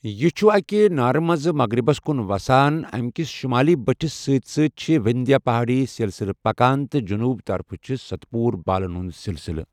یہِ چھُ أکہِ نارٕ مٕنزِ مغرِبس کُن وسان، امہِ کس شمٲلی بٔٹھِس سۭتۍ سۭتۍ چھِ وِندھیا پہٲڈی سِلسِلہٕ پکان تہٕ جنوٗبہٕ طرفہٕ چھِس ستپوُرا بالن ہندِ سِلسِلہٕ ۔